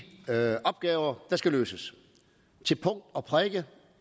opgaver der skal løses til punkt og prikke